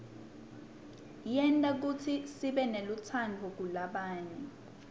yenta kutsi sibenelutsandvo kulabanye